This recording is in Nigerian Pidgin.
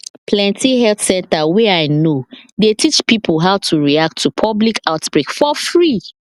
plenty health center wey i know dey teach pipo how to react to public outbreak for free